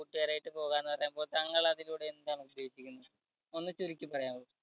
കൂട്ടുകാരായിട്ട് പോകാമെന്ന് പറയുമ്പോൾ താങ്കൾ അതിലൂടെ എന്താണ് ഉദ്ദേശിക്കുന്നത് ഒന്ന് ചുരുക്കി പറയാമോ?